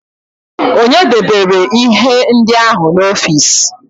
Ònye debere ihe ndị ahụ n'ọfịs?